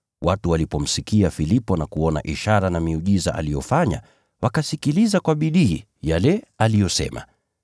Watu walipomsikia Filipo na kuona ishara na miujiza aliyofanya, wakasikiliza kwa bidii yale aliyosema.